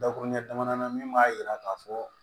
Dakuruɲɛ damadɔnan min b'a jira k'a fɔ